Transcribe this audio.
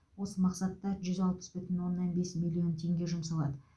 осы мақсатта жүз алпыс бүтін оннан бес миллион теңге жұмсалады